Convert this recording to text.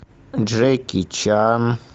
джеки чан